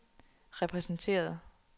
repræsenteret